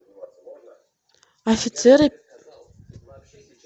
офицеры